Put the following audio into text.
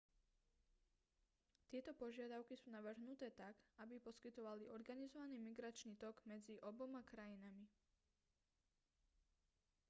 tieto požiadavky sú navrhnuté tak aby poskytovali organizovaný migračný tok medzi oboma krajinami